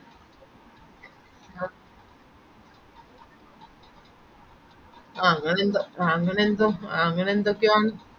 ആഹ് അങ്ങനെന്തോ ആഹ് അങ്ങനെന്തോ ആഹ് അങ്ങനെന്തൊക്കെയോ ആണ്